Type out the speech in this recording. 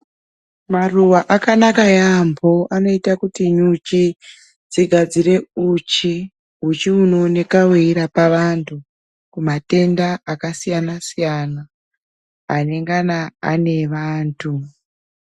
Maruwa akanaka yaamho anoita kuti nyuchi dzigadzire uchi inoineka weirapa antu kumatenda akasiyana siyana anengana ane vantu.